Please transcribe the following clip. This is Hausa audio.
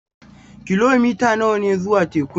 Kilomita nawa ne zuwa tekun?